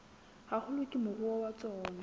haholo ke moruo wa tsona